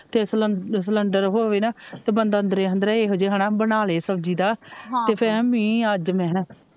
ਤੇ ਸਲਨ ਸਲੰਡਰ ਹੋਵੇ ਨਾਂ ਤੇ ਬੰਦ ਅੰਦਰ ਅੰਦਰ ਏਹੋ ਜਹ ਹਣਾ ਬਣਾ ਲੈ ਸਬਜੀ ਦਾ ਤੇ ਫੇਰ ਮੀਂਹ ਅੱਜ ਮੈ ਹਨਾ,